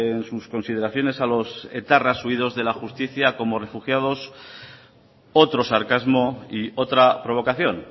en sus consideraciones a los etarras huidos de la justicia como refugiados otro sarcasmo y otra provocación